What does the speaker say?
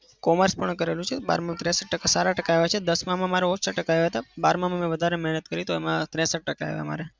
commerce પણ કરેલું છે બારમાં સારા ટકા આયા છે. દસમાં માં મારે ઓછા ટકા આવ્યા હતા. બારમાં માં મેં વધારે મહેનત કરી તો એમાં ત્રેસઠ ટકા આવ્યા મારે.